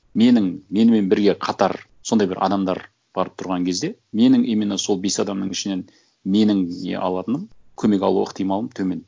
менің менімен бірге қатар сондай бір адамдар барып тұрған кезде менің именно сол бес адамның ішінен менің не алатыным көмек алу ықтималым төмен